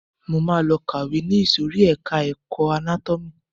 Máa lọ kàwé ni ìsòrí ẹka ẹ̀kọ́ anátómì.